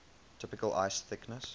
typical ice thickness